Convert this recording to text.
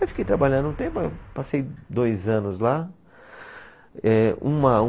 Aí fiquei trabalhando um tempo, passei dois anos lá. Eh, uma